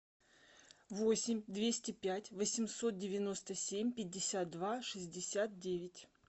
восемь двести пять восемьсот девяносто семь пятьдесят два шестьдесят девять